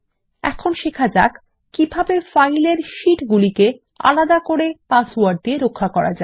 এখন শেখা যাক কিভাবে ফাইল এর শিট গুলিকে আলাদা করে পাসওয়ার্ড দিয়ে রক্ষা করা যায়